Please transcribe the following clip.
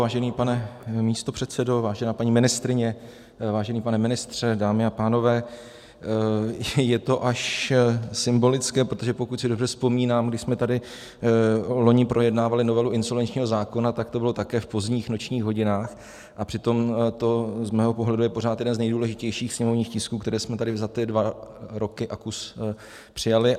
Vážený pane místopředsedo, vážená paní ministryně, vážený pane ministře, dámy a pánové, je to až symbolické, protože pokud si dobře vzpomínám, když jsme tady loni projednávali novelu insolvenčního zákona, tak to bylo také v pozdních nočních hodinách, a přitom to z mého pohledu je pořád jeden z nejdůležitějších sněmovních tisků, které jsme tady za ty dva roky a kus přijali.